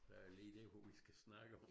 Der jo lige det hvad vi skal snakke om